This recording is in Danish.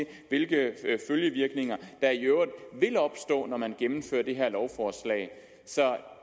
hvilke følgevirkninger der i øvrigt vil opstå når man gennemfører det her lovforslag så